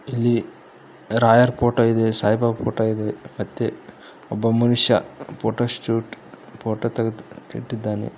ಇಲ್ಲಿ ರಾಯರ್ ಫೋಟೋ ಇದೆ ಸಾಯಿಬಾಬಾ ಫೋಟೋ ಇದೆ ಮತ್ತೆ ಒಬ್ಬ ಮನುಷ್ಯ ಫೋಟೋ ಶೂಟ್ ಫೋಟೋ ತೆಗೆದು ಇಟ್ಟಿದ್ದಾನೆ.